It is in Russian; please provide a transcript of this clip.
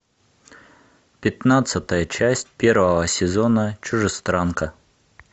пятнадцатая часть первого сезона чужестранка